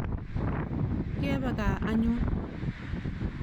Ngepe kaa anyun.